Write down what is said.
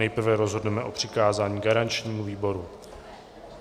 Nejprve rozhodneme o přikázání garančnímu výboru.